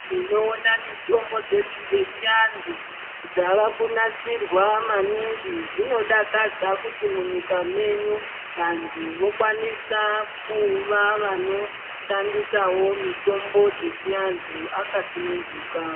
Tinoona mitombo dzedu dzechiandu dzavakunasirwa maningi zvinodakadza kuti munyika menyu vandu wokwanisa kuva vanoshandisawo mitombo dzechiandu akasununduka.